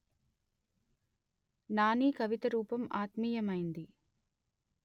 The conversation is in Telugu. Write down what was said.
నానీ కవితారూపం ఆత్మీయమైంది